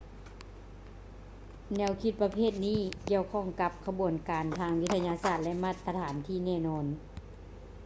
ແນວຄິດປະເພດນີ້ ກ່ຽວຂ້ອງກັບ ຂະບວນການທາງວິທະຍາສາດ ຫຼື ມາດຕະຖານທີ່ແນ່ນອນ